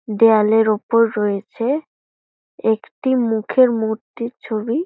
দেয়ালের ওপর রয়েছে একটি মুখের মূর্তির ছবি --